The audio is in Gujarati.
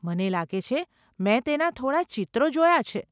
મને લાગે છે મેં તેના થોડાં ચિત્રો જોયાં છે.